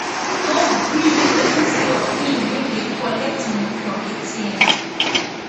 no gree make pesin see your pin wen you dey collect money from atm